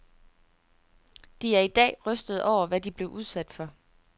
De er i dag rystede over, hvad de blev udsat for.